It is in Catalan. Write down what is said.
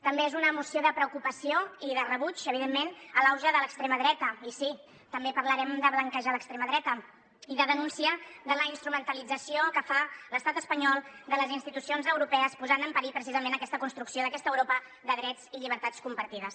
també és una moció de preocupació i de rebuig evidentment a l’auge de l’extrema dreta i sí també parlarem de blanquejar l’extrema dreta i de denúncia de la instrumentalització que fa l’estat espanyol de les institucions europees que posa en perill precisament aquesta construcció d’aquesta europa de drets i llibertats compartides